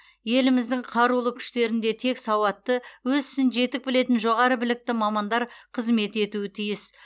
еліміздің қарулы күштерінде тек сауатты өз ісін жетік білетін жоғары білікті мамандар қызмет етуі тиіс